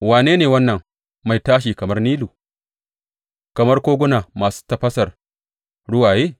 Wane ne wannan mai tashi kamar Nilu, kamar koguna masu tafasar ruwaye?